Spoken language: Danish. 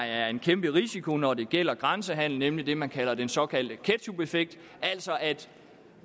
er en kæmpe risiko når det gælder grænsehandelen er det man kalder den såkaldte ketchupeffekt altså at